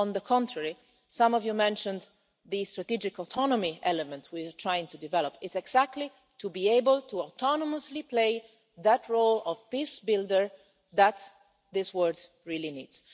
On the contrary, some of you mentioned the strategic autonomy element we are trying to develop, which is intended to be able to autonomously play the role of peace builder that this world really